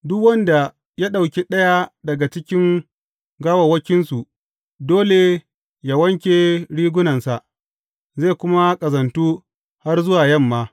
Duk wanda ya ɗauki ɗaya daga cikin gawawwakinsu dole yă wanke rigunansa, zai kuma ƙazantu har zuwa yamma.